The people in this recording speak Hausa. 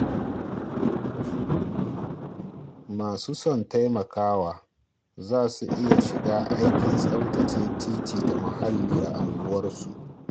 Masu son taimakawa za su iya shiga aikin tsaftace titi da muhalli a unguwarmu.